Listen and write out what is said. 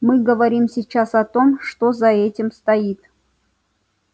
мы говорим сейчас о том что за этим стоит